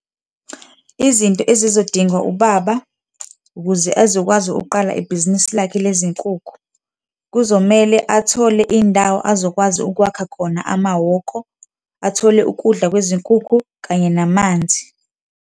Izinto ezizodingwa ubaba ukuze ezokwazi ukuqala ibhizinisi lakhe lezinkukhu, kuzomele athole indawo azokwazi ukwakha khona amahhoko, athole ukudla kwezinkukhu kanye namanzi.